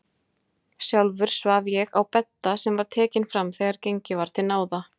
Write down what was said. Sjálfur svaf ég á bedda sem var tekinn fram þegar gengið var til náða.